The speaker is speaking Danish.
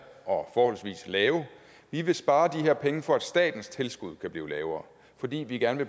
og forholdsvis lave vi vil spare de her penge for at statens tilskud kan blive lavere fordi vi gerne